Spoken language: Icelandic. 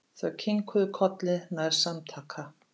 Þau kinkuðu kolli nær samtaka.